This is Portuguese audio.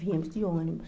Viemos de ônibus.